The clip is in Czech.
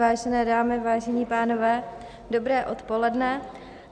Vážené dámy, vážení pánové, dobré odpoledne.